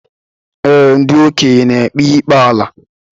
Ee, ndị okenye n'ekpe ikpe ala.